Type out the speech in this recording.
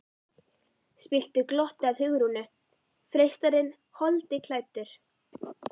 spilltu glotti að Hugrúnu, freistarinn holdi klæddur.